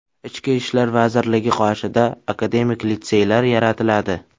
Ichki ishlar vazirligi qoshida akademik litseylar yaratiladi.